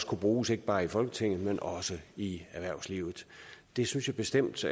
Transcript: kunne bruges ikke bare i folketinget men også i erhvervslivet det synes jeg bestemt